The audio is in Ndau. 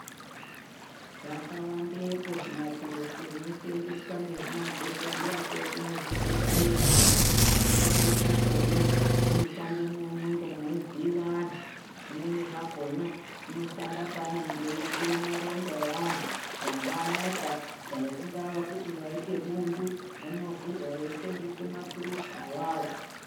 Zvakawandepo zvimaturuzi zvinosenzeswa nezvimadhokodheya edu muzvibhedhlera, zvimweni zvakona zvinoshande mwo munenge mwei vhiyiwa antu, zvimweni zvakona zvinoshanda panenge eyivhure maronda eantu dai mamota dai kungava kuti waite bundu rinovhurwa veisenzese maturuzi awawo.